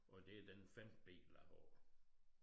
Og det den femte bil jeg har